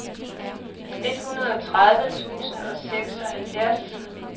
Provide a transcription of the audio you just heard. enogtredive tusind og seksoghalvfjerds